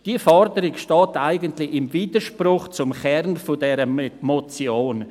Diese Forderung steht eigentlich im Widerspruch zum Kern dieser Motion.